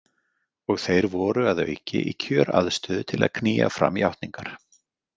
Og þeir voru að auki í kjöraðstöðu til að knýja fram játningar.